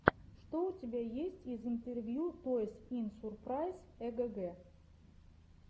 что у тебя есть из интервью тойс ин сурпрайз эгг